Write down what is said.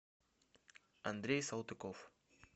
андрей салтыков